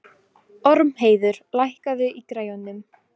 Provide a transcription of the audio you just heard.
Ormheiður, lækkaðu í græjunum.